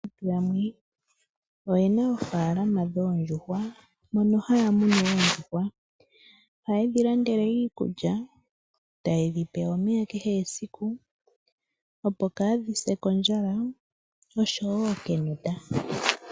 Yamwe oye na oofaalama dhoondjuhwa mono haya munu oondjuhwa. Ohaye dhi landele iikulya e ta ye dhi pe omeya kehe esiku opo kaadhi se kondjala oshowo kenota.